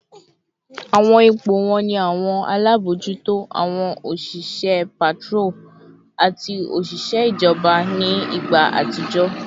Awọn ipo wọn ni awọn alabojuto, awọn oṣiṣẹ patrol, ati oṣiṣẹ ijọba ni igba atijọ